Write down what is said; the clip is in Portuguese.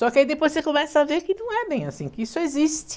Só que aí depois você começa a ver que não é bem assim, que isso existe.